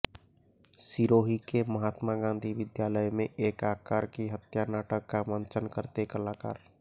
सिरोही के महात्मा गान्धी विध्यालय में एक आकार की हत्या नाटक का मंचन करते कलाकार